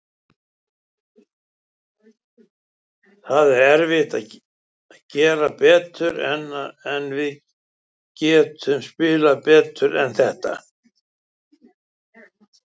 Það er erfitt að gera betur, en við getum spilað betur en þetta.